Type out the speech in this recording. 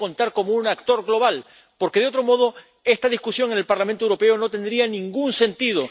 Tiene que contar como un actor global, porque de otro modo esta discusión en el Parlamento Europeo no tendría ningún sentido.